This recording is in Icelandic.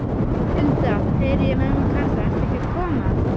Hulda, heyri ég mömmu kalla, ertu ekki að koma?